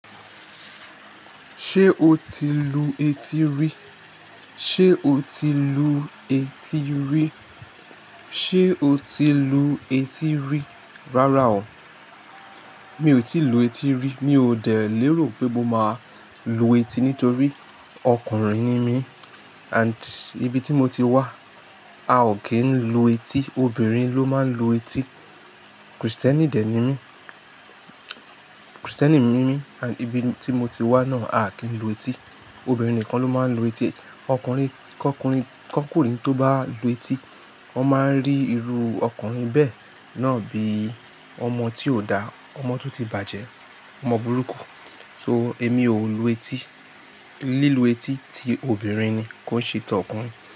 Ṣé o ti lu etí rí? Ṣé o ti lu etí rí? Ṣé o ti lu etí rí? Rárá o, mi ò tí lu etí rí. Mi ò dẹ̀ lérò pé mo máa lu etí nítorí ọkùnrin ni mí and ibi tí mo ti wá, a ò kí ń lu etí, obìnrin ló máa ń lu etí. Kristẹni dè ni mí, Kristẹni ni mí and ibi tí mo ti wá náà a kí ń lu etí, obìnrin nìkan ló máa ń lu etí. Ọkùnrin, kọ́kùnrin tó bá lu etí, wọ́n máa ń rí irú ọkùnrin bẹ́ẹ̀ náà bí ọmọ tí ò dà, ọmọ tó ti bàjẹ́, ọmọ burúkú. So èmi ò lu etí, lílu etí ti obìnrin ni kó ṣí tọ́ ọkùnrin.